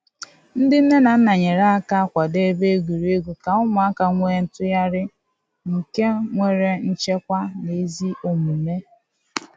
Ndị nne na nna nyere aka kwado ebe egwuregwu ka ụmụaka nwee ntụgharị nke nwere nchekwa na ezi omume